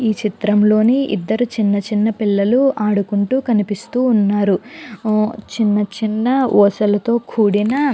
ఈ చిత్రంలోని ఇద్దరు చిన్న చిన్న పిల్లలు ఆడుకుంటూ కనిపిస్తూ ఉన్నారు అ చిన్న చిన్న ఊసలతో కూడిన --